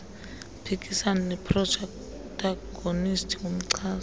uphikisana neprotagonisti ngumchasi